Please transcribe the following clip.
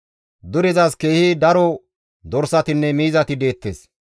Durezas keehi daro dorsatinne miizati deettes.